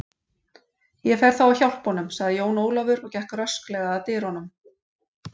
Ég fer þá að hjálpa honum, sagði Jón Ólafur og gekk rösklega að dyrunum.